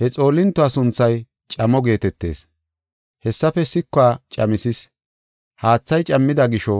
He xoolintuwa sunthay Camo geetetees. Haathaafe sikuwa camisis; haathay cammida gisho,